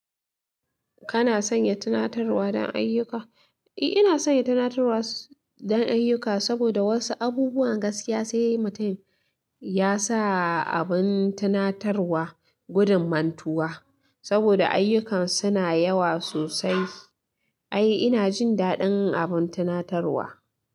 Kana sanya tunatarwa don ayyuka? Eh, ina sanya tunatarwa don ayyuka saboda wasu abubuwan gaskiya sai mutum ya sa abin tunatarwa gudun mantuwa. Saboda ayyukan su na yawa sosai. Ai ina jin daɗin abin tunatarwa.